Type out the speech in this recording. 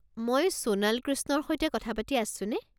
মই সোনাল কৃষ্ণৰ সৈতে কথা পাতি আছোঁনে?